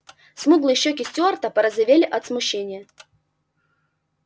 смуглые щеки стюарта порозовели от смущения